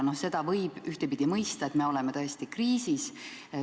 No seda võib mõista ühtepidi, et me oleme tõesti kriisis.